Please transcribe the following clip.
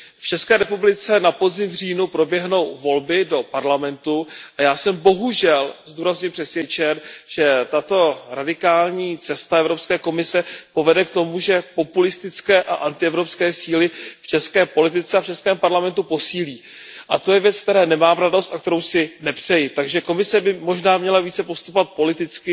V České republice na podzim v říjnu proběhnou volby do Parlamentu, a já jsem bohužel, to zdůrazňuji přesvědčen, že tato radikální cesta Evropské komise povede k tomu, že populistické a antievropské síly v české politice a v českém parlamentu posílí. A to je věc, z které nemám radost a kterou si nepřeji. Takže Komise by možná měla postupovat více politicky